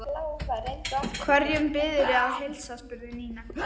Hverjum biðurðu að heilsa? spurði Nína.